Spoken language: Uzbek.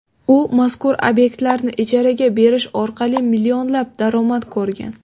U mazkur obyektlarni ijaraga berish orqali millionlab daromad ko‘rgan.